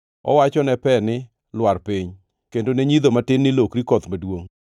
Owacho ne pe ni, ‘Lwar piny,’ kendo ne nyidho matin ni, ‘Lokri koth maduongʼ.’